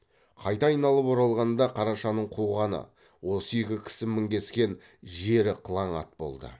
қайта айналып оралғанда қарашаның қуғаны осы үйге кісі мінгескен жері қылаң ат болды